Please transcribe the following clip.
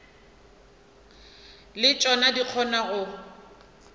le tšona di kgona go